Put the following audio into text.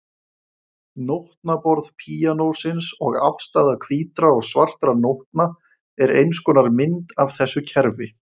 Nótnaborð píanósins og afstaða hvítra og svartra nótna er eins konar mynd af þessu kerfi.